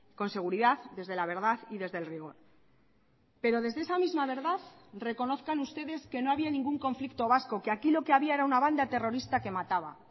con seguridad desde la verdad y desde el rigor pero desde esa misma verdad reconozcan ustedes que no había ningún conflicto vasco que aquí lo que había era una banda terrorista que mataba